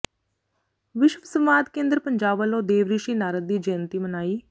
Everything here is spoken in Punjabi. ਵਿਸ਼ਵ ਸੰਵਾਦ ਕੇਂਦਰ ਪੰਜਾਬ ਵੱਲੋਂ ਦੇਵ ਰਿਸ਼ੀ ਨਾਰਦ ਦੀ ਜੈਅੰਤੀ ਮਨਾਈ